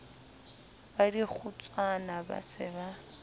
ba dikgotswana ba se ba